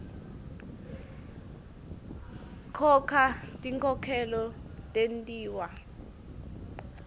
khona tinkhokhelo tentiwa